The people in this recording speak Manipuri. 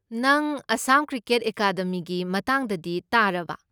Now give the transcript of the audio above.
ꯅꯪ ꯑꯥꯁꯥꯝ ꯀ꯭ꯔꯤꯀꯦꯠ ꯑꯦꯀꯥꯗꯃꯤꯒꯤ ꯃꯇꯥꯡꯗꯗꯤ ꯇꯥꯔꯕ?